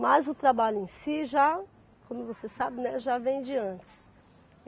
Mas o trabalho em si já, como você sabe, né, já vem de antes.